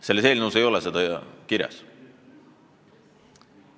Selles eelnõus ei ole Venemaad kirjas.